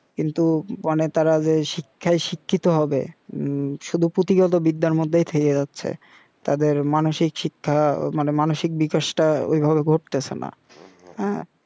কিন্তু মানে তারা যে শিক্ষায় শিক্ষিত হবে হুম শুধু পুথিগত বিদ্যার মধ্যেই থেকে যাচ্ছে তাদের মানুষিক শিক্ষা মানে মানুষিক বিকাশটা ঐভাবে ঘটতেসে না